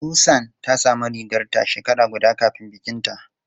Susan ta samu rigarta shekara guda kafin bikinta.